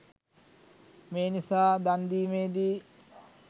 මේ නිසා දන් දීමේදී